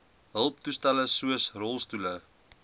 hulptoestelle soos rolstoele